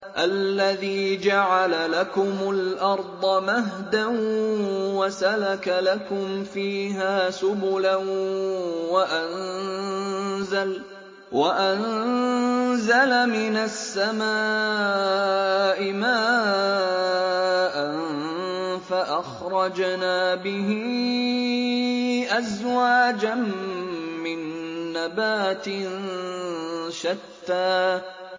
الَّذِي جَعَلَ لَكُمُ الْأَرْضَ مَهْدًا وَسَلَكَ لَكُمْ فِيهَا سُبُلًا وَأَنزَلَ مِنَ السَّمَاءِ مَاءً فَأَخْرَجْنَا بِهِ أَزْوَاجًا مِّن نَّبَاتٍ شَتَّىٰ